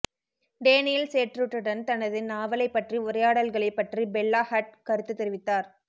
Daniel சேட்ரிட்டுடன் தனது நாவலைப் பற்றி உரையாடல்களைப் பற்றி பெல்லா ஹட்ட் கருத்து தெரிவித்தார்